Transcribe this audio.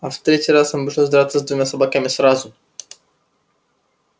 а в третий раз ему пришлось драться с двумя собаками сразу